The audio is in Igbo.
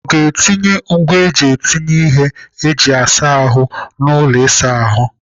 Ọ ga-etinye ngwaa eji etinye ihe eji asa ahụ n'ụlọ ịsa ahụ?